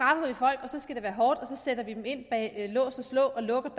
af være hårdt og så sætter vi dem ind bag lås og slå og lukker